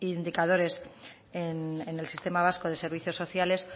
indicadores en el sistema vasco de servicios sociales